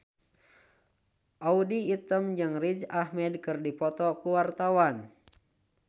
Audy Item jeung Riz Ahmed keur dipoto ku wartawan